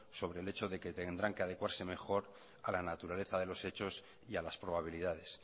sobre el hecho de que tendrán que adecuarse mejor a la naturaleza de los hechos y a las probabilidades